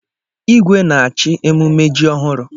Igwe na-achị emume ji ọhụrụ.